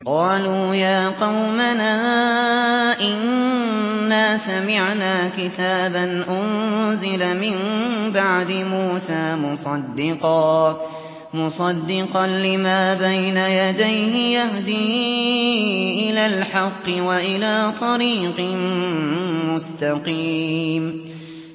قَالُوا يَا قَوْمَنَا إِنَّا سَمِعْنَا كِتَابًا أُنزِلَ مِن بَعْدِ مُوسَىٰ مُصَدِّقًا لِّمَا بَيْنَ يَدَيْهِ يَهْدِي إِلَى الْحَقِّ وَإِلَىٰ طَرِيقٍ مُّسْتَقِيمٍ